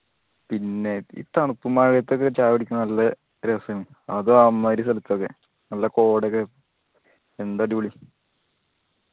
പിന്നെ ഈ തണുപ്പും മഴയതൊക്കെ ചായ കുടിക്കണ നല്ല രസാണ് അതു അമ്മായിരി സ്ഥലത്തൊക്കെ നല്ല കോടൊക്കെ എന്ത് അടിപൊളി